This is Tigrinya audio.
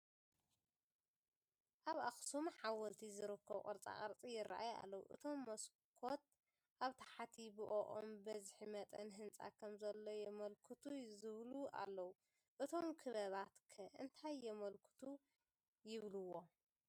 ኣብ ኣኽሱም ሓወልቲ ዝርከቡ ቅርፃ ቅርፂ ይርአዩ ኣለዉ፡፡ እቶም መስኮት ኣብ ታሕቲ ብኦኦም ብዝሒ መጠን ህንፃ ከምዘሎ የመልክቱ ዝብሉ ኣለዉ፡፡ እቶም ክበባት ከ እንታይ የመልክቱ ይብልዎም?